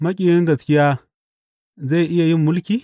Maƙiyin gaskiya zai iya yin mulki?